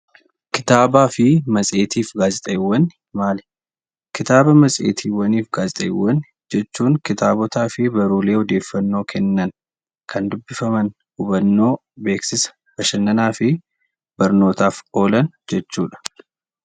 Kitaabaa fi matseetii fi gaazexaawwan maali? Kitaaba, matseetii, fi gaazexaawwan jechuun kitaabotaa fi baruulee odeeffannoo kennan, kan dubbifaman, hubannoo, beeksisa, bashannanaa fi barnootaaf oolan jechuudha.